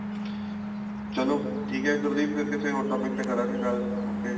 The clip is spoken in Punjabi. ਚਲੋ ਠੀਕ ਏ ਗੁਰਦੀਪ ਫੇਰ ਕਿਸੇ ਹੋਰ topic ਤੇ ਕਰਾਂਗੇ ਗੱਲ okay